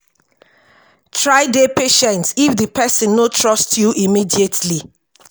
try dey patient if di person no trust you immediately